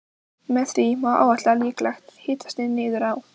Með því má áætla líklegt hitastig niður á